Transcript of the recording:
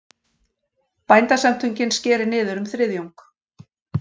Bændasamtökin skeri niður um þriðjung